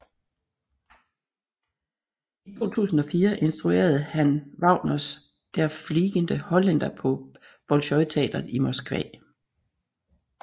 I 2004 instruerede han Wagners Der fliegende Holländer på Bolsjojteatret i Moskva